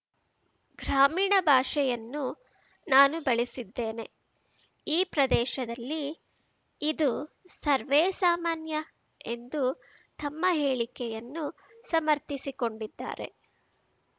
ಗ್ರಾಮೀಣ ಭಾಷೆಯನ್ನು ನಾನು ಬಳಸಿದ್ದೇನೆ ಈ ಪ್ರದೇಶದಲ್ಲಿ ಇದು ಸರ್ವೇ ಸಾಮಾನ್ಯ ಎಂದು ತಮ್ಮ ಹೇಳಿಕೆಯನ್ನು ಸಮರ್ಥಿಸಿಕೊಂಡಿದ್ದಾರೆ